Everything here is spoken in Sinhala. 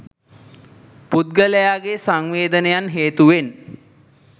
පුද්ගලයාගේ සංවේදනයන් හේතුවෙන්